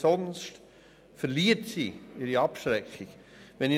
Sonst verliert sie ihre abschreckende Wirkung.